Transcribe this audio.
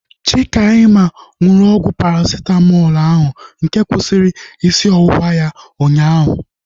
Chikaima nụrụ ọgwụ Parasitamọlu ahu nke kwụsịrị isi ọwụwa ya ụnyaahụ